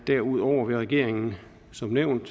derudover vil regeringen som nævnt